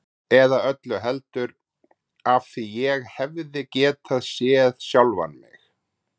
Eða öllu heldur: af því ég hefði getað séð sjálfan mig.